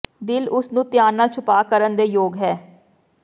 ਦਿਲ ਉਸ ਨੂੰ ਧਿਆਨ ਨਾਲ ਛੁਪਾ ਕਰਨ ਦੇ ਯੋਗ ਹੈ